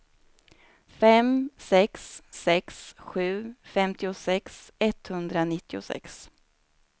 fem sex sex sju femtiosex etthundranittiosex